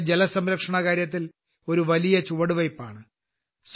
ഇത് ജലസംരക്ഷണകാര്യത്തിൽ ഒരു വലിയ ചുവടുവയ്പ്പാണ്